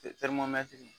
teri matigi